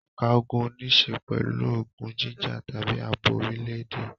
Ẹ̀ka ogun níṣe pẹ̀lú ogun jíjà tàbí ààbò orílẹ̀-èdè.